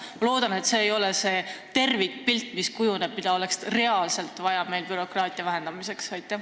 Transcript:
Ma loodan, et see ei olegi tervikpilt selle kohta, mida oleks reaalselt vaja bürokraatia vähendamiseks teha.